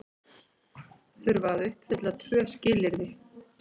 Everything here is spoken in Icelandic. Þurfa að uppfylla tvö skilyrði